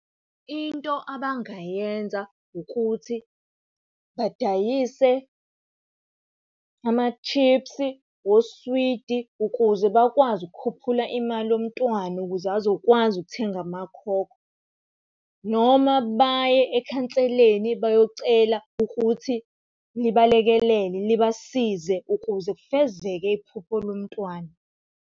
Into abangayenza ukuthi badayise amashiphsi, oswidi ukuze bakwazi ukukhuphula imali yomntwana ukuze azokwazi ukuthenga amakhokho. Noma baye ekhanseleni bayocela ukuthi libalekelele libasize ukuze kufezeke iphupho lomntwana.